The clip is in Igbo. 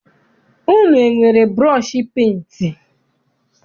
Unu enwere burọshi penti?